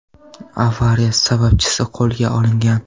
Avariya sababchisi qo‘lga olingan.